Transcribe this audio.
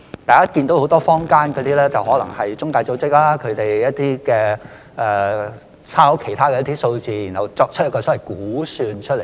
大家看到坊間有很多中介組織，可能是引述一些數字然後作出一個所謂估算而已。